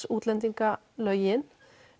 útlendingalögin